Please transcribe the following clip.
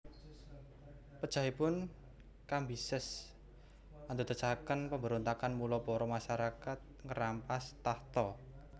Pejahipun Kambises andadosaken pamberontakan mula para masarakat ngerampas takhta